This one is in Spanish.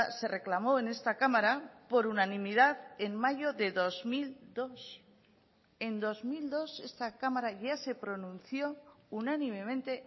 se reclamó en esta cámara por unanimidad en mayo de dos mil dos en dos mil dos esta cámara ya se pronunció unánimemente